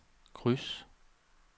kryds